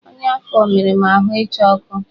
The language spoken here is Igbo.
Ọnya afọ mere m ahụ ịcha ọkụ